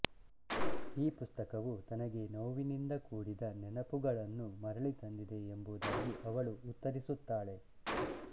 ಈ ಪುಸ್ತಕವು ತನಗೆ ನೋವಿನಿಂದ ಕೂಡಿದ ನೆನಪುಗಳನ್ನು ಮರಳಿ ತಂದಿದೆ ಎಂಬುದಾಗಿ ಅವಳು ಉತ್ತರಿಸುತ್ತಾಳೆ